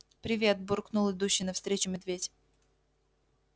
привет буркнул идущий навстречу медведь